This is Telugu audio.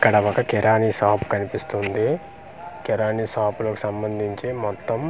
అక్కడ ఒక కిరాని షాప్ కనిపిస్తుంది కిరాని షాప్ కి సంబంధించి మొత్తం అన్ని .